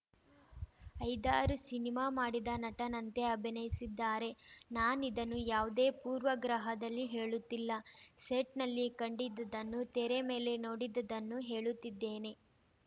ಐದಾರು ಸಿನಿಮಾ ಮಾಡಿದ ನಟನಂತೆ ಅಭಿನಯಿಸಿದ್ದಾರೆ ನಾನಿದನ್ನು ಯಾವುದೇ ಪೂರ್ವಗ್ರಹದಲ್ಲಿ ಹೇಳುತ್ತಿಲ್ಲ ಸೆಟ್‌ನಲ್ಲಿ ಕಂಡಿದ್ದದನ್ನು ತೆರೆ ಮೇಲೆ ನೋಡಿದ್ದದನ್ನು ಹೇಳುತ್ತಿದ್ದೇನೆ